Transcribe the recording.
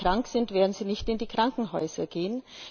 wenn sie krank sind, werden sie nicht in die Krankenhäuser gehen.